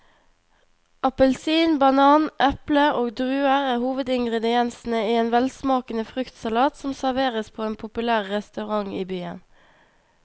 Appelsin, banan, eple og druer er hovedingredienser i en velsmakende fruktsalat som serveres på en populær restaurant i byen.